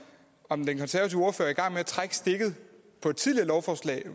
om den konservative ordfører at trække stikket på et tidligere lovforslag